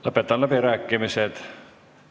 Lõpetan läbirääkimised.